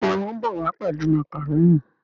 Béèni wón bó wá pèlú macaroni.